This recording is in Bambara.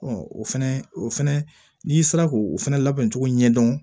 o fɛnɛ o fɛnɛ n'i sera k'o fɛnɛ labɛn cogo ɲɛ dɔn